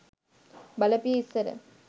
බලපිය ඉස්සර